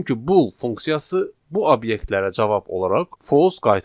Çünki bull funksiyası bu obyektlərə cavab olaraq false qaytardı.